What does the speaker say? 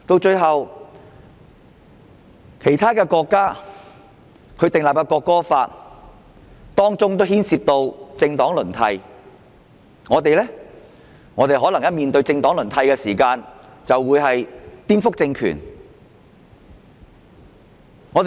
此外，其他國家訂立國歌法時也牽涉到政黨輪替，但我們若討論政黨輪替，便會被說成是顛覆政權。